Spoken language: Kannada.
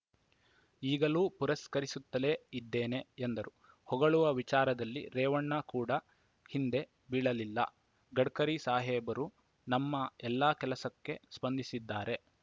ಈಗಲೂ ಪುರಸ್ಕರಿಸುತ್ತಲೇ ಇದ್ದೇನೆ ಎಂದರು ಹೊಗಳುವ ವಿಚಾರದಲ್ಲಿ ರೇವಣ್ಣ ಕೂಡ ಹಿಂದೆ ಬೀಳಲಿಲ್ಲ ಗಡ್ಕರಿ ಸಾಹೇಬರು ನಮ್ಮ ಎಲ್ಲಾ ಕೆಲಸಕ್ಕೆ ಸ್ಪಂದಿಸಿದ್ದಾರೆ